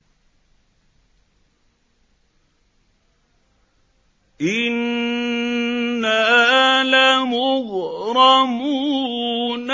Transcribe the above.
إِنَّا لَمُغْرَمُونَ